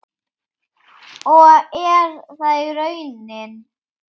Og er það raunin?